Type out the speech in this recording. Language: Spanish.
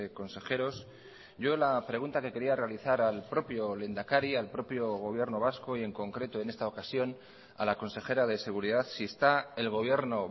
consejeros yo la pregunta que quería realizar al propio lehendakari al propio gobierno vasco y en concreto en esta ocasión a la consejera de seguridad si está el gobierno